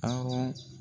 Awɔ